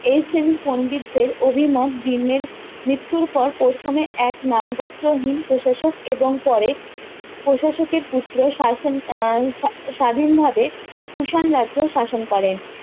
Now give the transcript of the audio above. এই শ্রেণীর পন্ডিতদের অভিমত ভীমের মৃত্যুর পর প্রথমে এক নাম গোত্রহীন প্রশাসক এবং পরে প্রশাসকের পুত্র শাসন আহ স্বাধীন ভাবে কুষাণ রাজ্য শাসন করেন